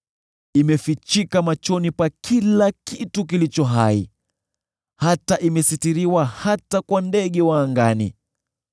Imefichika machoni pa kila kitu kilicho hai, imesitiriwa hata kwa ndege wa angani.